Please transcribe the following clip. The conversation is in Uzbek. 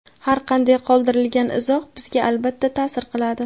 Har qanday qoldirilgan izoh bizga albatta ta’sir qiladi.